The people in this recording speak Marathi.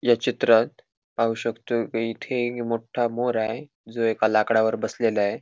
या चित्रात पाहू शकतो की इथे एक मोठ्ठा मोर आहे जो एका लाकडावर बसलेला आहे.